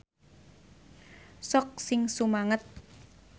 Sok sing sumanget.